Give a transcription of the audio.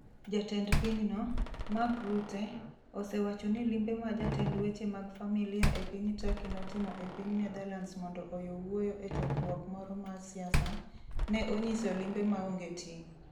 Jatend pinyno, Mark Rutte, osewacho ni limbe ma jatend weche mag familia e piny Turkey notimo e piny Netherlands mondo oyo wuoyo e chokruok moro mar siasa, ne onyiso limbe maonge ting'.